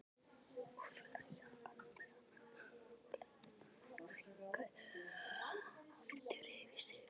Kuðlar jakkanum saman og lætur hann fjúka aftur fyrir sig.